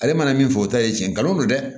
Ale mana min fɔ o ta ye tiɲɛ nkalon don dɛ